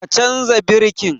Ka canza birkin!